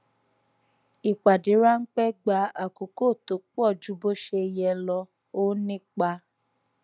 ìpàdé ránpẹ gba àkókò tó pọ ju bó ṣe yẹ lọ ó nípa